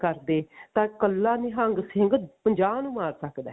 ਕਰਦੇ ਤਾਂ ਕੱਲਾ ਨਿਹੰਗ ਸਿੰਘ ਪੰਜਾਹ ਨੂੰ ਮਾਰ ਸਕਦਾ